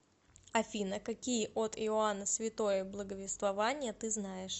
афина какие от иоанна святое благовествование ты знаешь